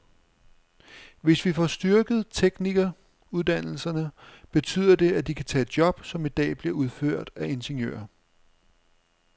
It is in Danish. Hvis vi får styrket teknikeruddannelserne, betyder det, at de kan tage job, som i dag bliver udført af ingeniører.